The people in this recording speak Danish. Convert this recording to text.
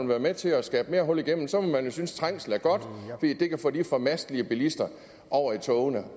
være med til at skabe mere hul igennem så må man jo synes trængsel er godt fordi det kan få de formastelige bilister over i togene